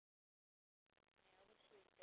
হ্যাঁ অবশ্যই তাই।